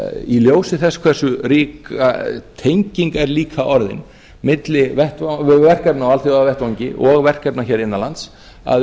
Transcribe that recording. í ljósi þess hversu rík tenging er líka orðin milli verkefna á alþjóðavettvangi og verkefna hér innanlands að